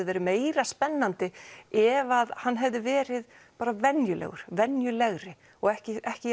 verið meira spennandi ef hann hefði verið meira venjulegur venjulegri og ekki ekki